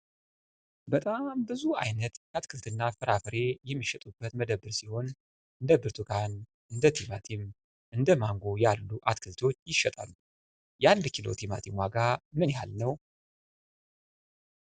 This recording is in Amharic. በጣም ብዙ አይነት የአትክልትና ፍራፍሬ የሚሸጡበት መደብር ሲሆን እንደ ብርቱካን እንደ ቲማቲም እንደማንጎ ያሉ አትክልቶች ይሸጣሉ። የ1 ኪሎ ቲማቲም ዋጋ ምን ያህል ነው?